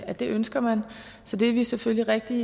at det ønsker man så det er vi selvfølgelig rigtig